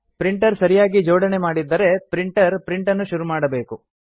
printer ಸರಿಯಾಗಿ ಜೋಡಣೆ ಮಾಡಿದ್ದರೆ ಪ್ರಿಂಟರ್ ಪ್ರಿಂಟನ್ನು ಶುರು ಮಾಡಬೇಕು